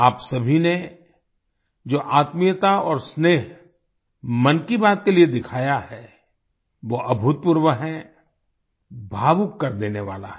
आप सभी ने जो आत्मीयता और स्नेह मन की बात के लिए दिखाया है वो अभूतपूर्व है भावुक कर देने वाला है